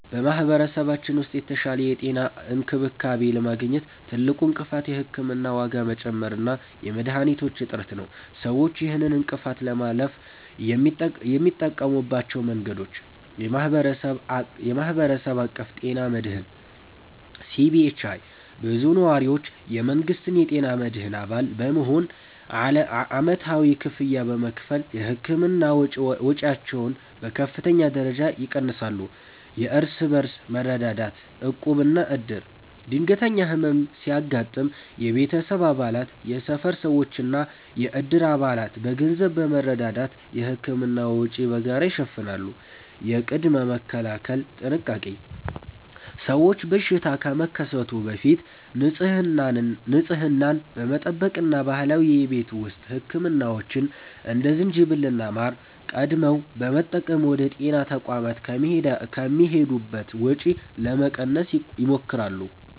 በማኅበረሰባችን ውስጥ የተሻለ የጤና እንክብካቤ ለማግኘት ትልቁ እንቅፋት የሕክምና ዋጋ መጨመር እና የመድኃኒቶች እጥረት ነው። ሰዎች ይህንን እንቅፋት ለማለፍ የሚጠቀሙባቸው መንገዶች፦ የማኅበረሰብ አቀፍ ጤና መድህን (CBHI)፦ ብዙ ነዋሪዎች የመንግሥትን የጤና መድህን አባል በመሆን ዓመታዊ ክፍያ በመክፈል የሕክምና ወጪያቸውን በከፍተኛ ደረጃ ይቀንሳሉ። የእርስ በርስ መረዳዳት (ዕቁብና ዕድር)፦ ድንገተኛ ሕመም ሲያጋጥም የቤተሰብ አባላት፣ የሰፈር ሰዎችና የዕድር አባላት በገንዘብ በመረዳዳት የሕክምና ወጪን በጋራ ይሸፍናሉ። የቅድመ-መከላከል ጥንቃቄ፦ ሰዎች በሽታ ከመከሰቱ በፊት ንጽህናን በመጠበቅ እና ባህላዊ የቤት ውስጥ ሕክምናዎችን (እንደ ዝንጅብልና ማር) ቀድመው በመጠቀም ወደ ጤና ተቋማት የሚሄዱበትን ወጪ ለመቀነስ ይሞክራሉ።